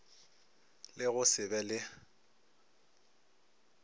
le go se be le